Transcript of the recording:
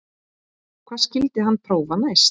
Hvað skyldi hann prófa næst?